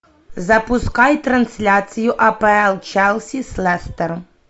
запускай трансляцию апл челси с лестером